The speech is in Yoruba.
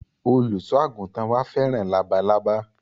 Olùsọ àgùntàn wa fẹ́ràn labalábá